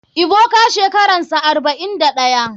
Ebuka shekaransa 41.